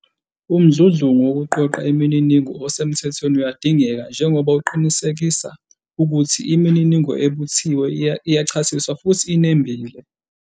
Umdludlungu wokuqoqa imininingo osemthethweni uyadingeka, njengoba uqinisekisa ukuthi imininingo ebuthiwe iyachasiswa futhi inembile.